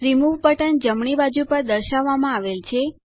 remove button જમણી બાજુ પર દર્શાવવામાં આવેલ છે